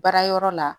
Baara yɔrɔ la